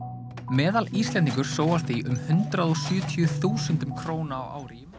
meðal Íslendingur sóar því um hundrað og sjötíu þúsundum króna á ári í